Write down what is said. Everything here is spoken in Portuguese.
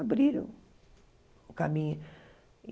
abriram o caminho.